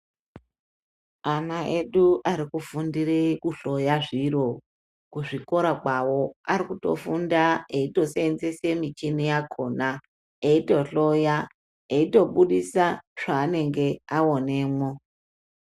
Ana edu arikufundire kuhloya zviro kuzvikora kwawo arikutofunda eitosenzese michini yakona eitohloya eitobudise zvaanenge aonemwo.